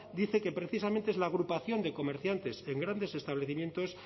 dice que precisamente es la agrupación de comerciantes en grandes establecimientos